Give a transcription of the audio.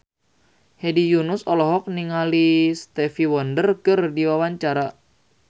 Hedi Yunus olohok ningali Stevie Wonder keur diwawancara